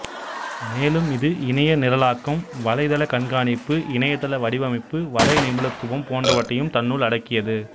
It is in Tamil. மேலும் இது இணைய நிரலாக்கம் வலைதள கண்காணிப்பு இணையதள வடிவமைப்பு வலை நிபுணத்துவம் போன்றவற்றையும் தன்னுள் அடக்கியது